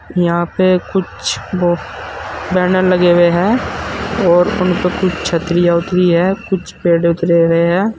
यहां पे कुछ बैनर लगे हुए हैं और उन पे कुछ छतरी दिख रही हैं कुछ पेड़ दिख रहे हैं।